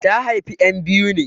Ta haifi ƴan biyu ne.